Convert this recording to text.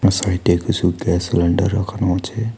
সাইটে কিছু gas cylinder রাখানো আছে।